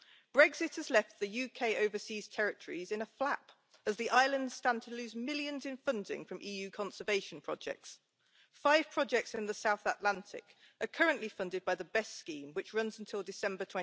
Brexit has left the UK overseas territories in a flap, as the islands stand to lose millions in funding from EU conservation projects. Five projects in the South Atlantic are currently funded by the Best scheme, which runs until December